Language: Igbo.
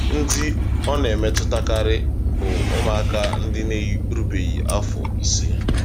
Ndị ọ na-emetụtakarị bụ ụmụaka na-erubeghị afọ ise.